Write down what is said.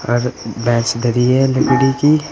Bench धरी है लकड़ी की।